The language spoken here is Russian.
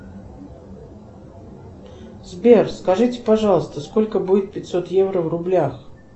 сбер скажите пожалуйста сколько будет пятьсот евро в рублях